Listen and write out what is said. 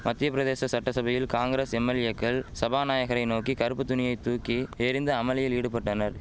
மத்தியபிரதேச சட்டசபையில் காங்கிரஸ் எம்எல்ஏக்கள் சபாநாயகரை நோக்கி கறுப்பு துணியை தூக்கி எறிந்து அமளியில் ஈடுபட்டனர்